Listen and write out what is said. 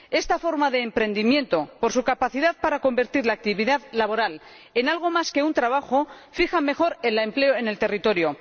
Esta forma de emprendimiento, por su capacidad para convertir la actividad laboral en algo más que un trabajo, fija mejor el empleo al territorio.